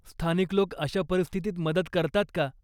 स्थानिक लोक अशा परिस्थितीत मदत करतात का?